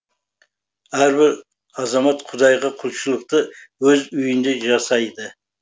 әрбір азамат құдайға құлшылықты өз үйінде жасайды